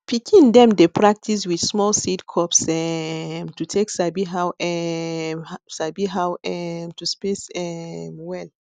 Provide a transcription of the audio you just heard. pikin dem dey practice with small seed cups um to take sabi how um sabi how um to space um well